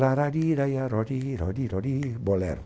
Larariraiarorirorirori, bolero.